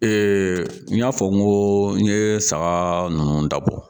n y'a fɔ n ko n ye saga ninnu da bɔ